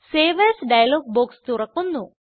save as dialog box തുറക്കുന്നു